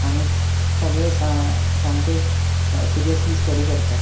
आणि सगळे सामकेच सिरियसली स्टडी करता.